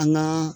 An ŋaa